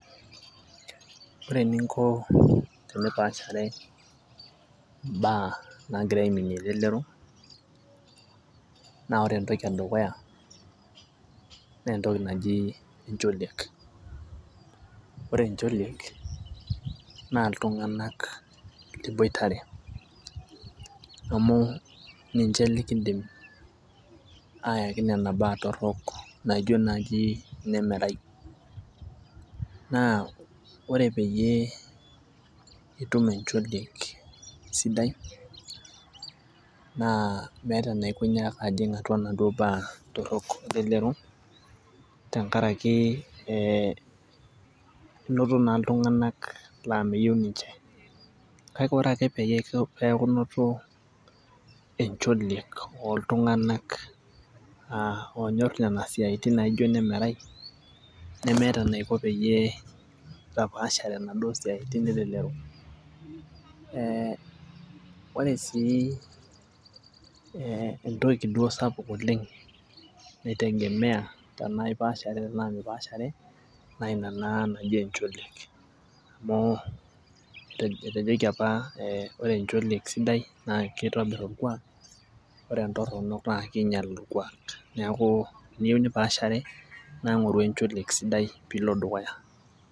Ore eninko tenipaashare imbaa nagira aiminie elelero naa ore entoki edukuya naa entoki naji encholiek. ore encholiek, naa iltunganak liboitare amu ninche likidim aayaki Nena naa torok naijo naaji, ine .erai. naa ore peyie itum encholiek sidai, naa meeta enaiko pee inyaaka ajing inaduoo naa torok elelero tenkaraki ee inoto naa iltunganak laa meyieu ninche. kake ore pee neeku inoto encholiek ooltunganak oonyor Nena siatin naijo ine merai, nemeeta enaiko peyie itapaashare inaduoo siatin elelero.ee ore sii ee entoki duo sapuk oleng naitegemea tenaa ipaashare tenaa mipaashare naa Ina naa. Naji encholiek amu, etejoki apa ore encholiek sidai naa kitobir orkuaak ore entorono naa king'ial, orkuaak. neeku teniyieu nipaashare naa ng'oru encholiek sidai pee ilo dukuya.